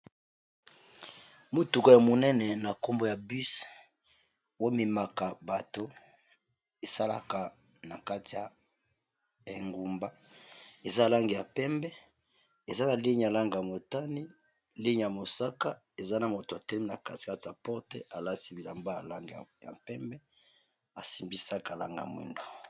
Motuko ya monene na nkombo ya bus oyo ememaka bato esalaka na kati ya engumba eza langi ya pembe, eza na ligne ya langi ya motani, ya mosaka eza na moto atelemi na kati kati ya porte alati bilamba alanga ya pembe, asimbi sac ya langi ya mwindo.